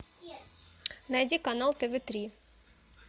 найди канал тв три